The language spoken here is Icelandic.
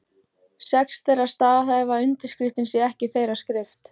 Sex þeirra staðhæfa að undirskriftin sé ekki þeirra skrift.